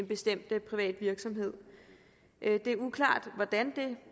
bestemt privat virksomhed det er uklart hvordan det